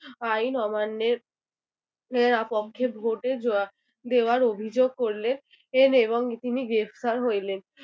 আইন অমান্যের এর পক্ষে ভোটে য দেওয়ার অভিযোগ করলেন এর এবং তিনি গ্রেফতার হইলেন